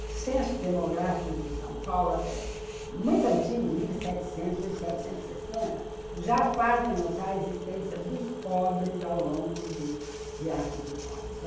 Os censos demográficos de São Paulo, até, muito antigos, de mil e setecentos, mil setecentos e setenta, já fazem notar a existência dos pobres ao longo de riachos e córregos.